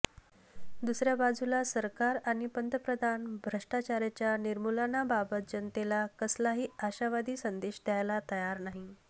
दुसर्या बाजूला सरकार आणि पंतप्रधान भ्रष्टाचाराच्या निर्मुलनाबाबत जनतेला कसलाही आशावादी संदेश द्यायला तयार नाही